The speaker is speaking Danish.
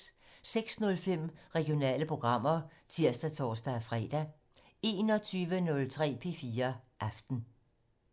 06:05: Regionale programmer (tir og tor-fre) 21:03: P4 Aften